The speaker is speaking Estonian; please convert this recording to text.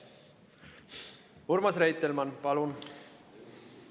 Urmas Reitelmann, palun!